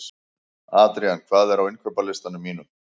Adrían, hvað er á innkaupalistanum mínum?